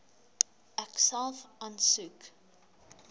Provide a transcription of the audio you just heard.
ek self aansoek